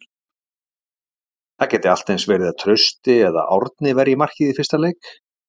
Það gæti allt eins verið að Trausti eða Árni verji markið í fyrsta leik?